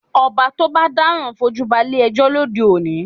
Ọba tó bá dáràn fojú balé ẹjọ́ lóde òní